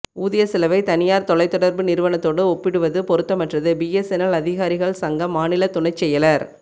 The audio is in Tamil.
ஊதிய செலவை தனியாா் தொலைத்தொடா்புநிறுவனத்தோடு ஒப்பிடுவது பொருத்தமற்றதுபிஎஸ்என்எல் அதிகாரிகள் சங்க மாநில துணைச் செயலா்